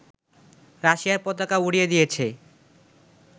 রাশিয়ার পতাকা উড়িয়ে দিয়েছে